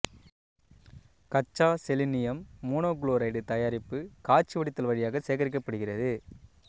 கச்சா selenium monochloride தயாரிப்பு காய்ச்சி வடித்தல் வழியாக சேகரிக்கப்படுகிறது